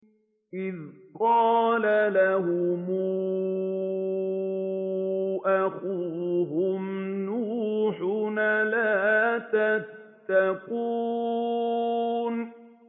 إِذْ قَالَ لَهُمْ أَخُوهُمْ نُوحٌ أَلَا تَتَّقُونَ